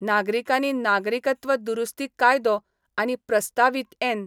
नागरिकानी नागरिकत्व दुरुस्ती कायदो आनी प्रस्तावित एन.